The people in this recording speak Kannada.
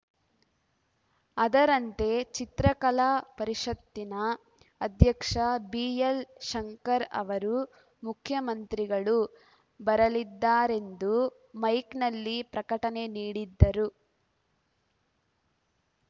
ಅದರಂತೆ ಚಿತ್ರಕಲಾ ಪರಿಷತ್ತಿನ ಅಧ್ಯಕ್ಷ ಬಿಎಲ್‌ಶಂಕರ್‌ ಅವರು ಮುಖ್ಯಮಂತ್ರಿಗಳು ಬರಲಿದ್ದಾರೆಂದು ಮೈಕ್‌ನಲ್ಲಿ ಪ್ರಕಟಣೆ ನೀಡಿದ್ದರು